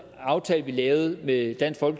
aftale vi lavede med dansk